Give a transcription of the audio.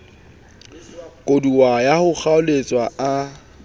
koduwa ya ho kgaoletswa a